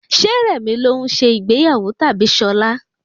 Ṣé rẹ̀mi ló ń se ìgbéyàwó tabi Ṣọla?